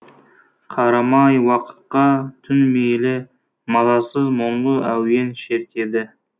қарамай уақытқа түн мейлі мазасыз мұңлы әуен шертеді